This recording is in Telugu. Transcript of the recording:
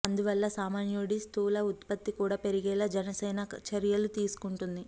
అందువల్ల సామాన్యుడి స్థూల ఉత్పత్తి కూడా పెరిగేలా జనసేన చర్యలు తీసుకుంటుంది